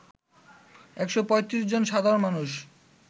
১৩৫ জন সাধারণ মানুষ